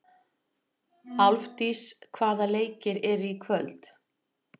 Álfdís, hvaða leikir eru í kvöld?